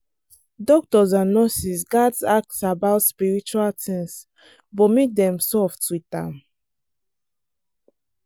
doctors and nurses gats ask about spiritual things but make dem soft with am.